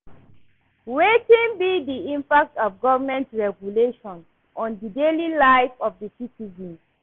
Wetin be di impact of government regulations on di daily life of di citizens?